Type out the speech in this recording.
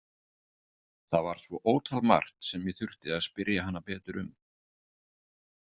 Það var svo ótal margt sem ég þurfti að spyrja hana betur um.